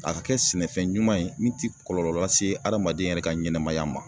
A ka kɛ sɛnɛfɛn ɲuman ye min ti kɔlɔlɔ lase adamaden yɛrɛ ka ɲɛnɛmaya ma